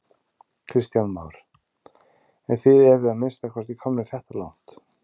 Kristján Már: En þið eruð að minnsta kosti komnir þetta langt?